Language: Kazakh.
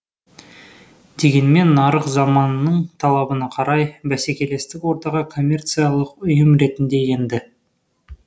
дегенмен нарық заманының талабына қарай бәсекелестік ортаға коммерциялық ұйым ретінде енді